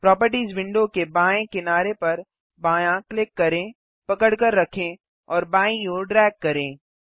properties window के बाएँ किनारे पर बायाँ क्लिक करें पकड़कर रखें और बाईं ओर ड्रैग करें